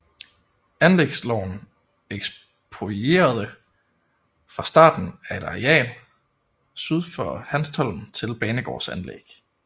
Anlægsloven eksproprierede fra starten et areal syd for Hanstholm til banegårdsanlæg